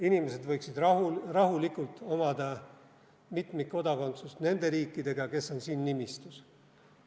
Inimesed võiksid rahulikult omada mitmikkodakondsust nende riikidega, kes on siin nimistus.